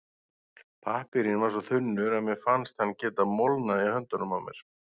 Pappírinn var svo þunnur að mér fannst hann geta molnað í höndunum á mér.